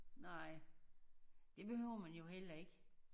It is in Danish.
Nej det behøver man jo heller ikke